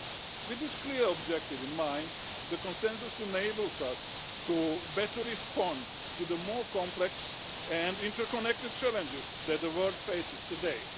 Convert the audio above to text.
With this clear objective in mind, the Consensus enables us to respond better to the more complex and interconnected challenges that the world faces today.